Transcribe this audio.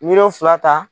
Miliyɔn fila ta